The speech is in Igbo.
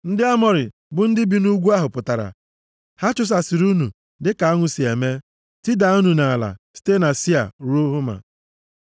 Ndị Amọrị bụ ndị bi nʼugwu ahụ pụtara, ha chụsasịrị unu dịka aṅụ si eme, tidaa unu nʼala site na Sia ruo Homa.